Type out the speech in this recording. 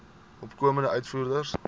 opkomende uitvoerders